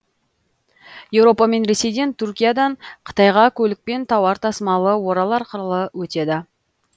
еуропа мен ресейден түркиядан қытайға көлікпен тауар тасымалы орал арқылы өтеді